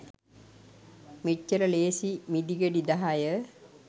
මෙච්චර ලේසි මිදිගෙඩි දහය